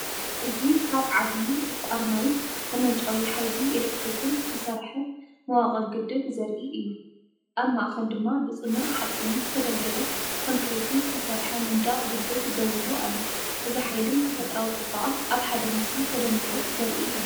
እዚ ካብ ዓብዪ ዕቋር ማይን መመንጨዊ ሓይሊ ኤሌክትሪክን ዝተሰርሐ መዋቕር ግድብ ዘርኢ እዩ። ኣብ ማእከል ድማ ብጽኑዕ ሓጺንን ዝተደልደለ ኮንክሪትን ዝተሰርሐ መንደቕ ግድብ ደው ኢሉ ኣሎ። እዚ ሓይልን ተፈጥሮኣዊ ጽባቐን ኣብ ሓደ ምስሊ ተደሚሩ ዘርኢ እዩ ።